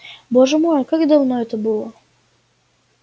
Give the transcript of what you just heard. боже мой как давно это было